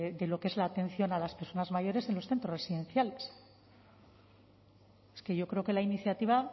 de lo que es la atención a las personas mayores en los centros residenciales es que yo creo que la iniciativa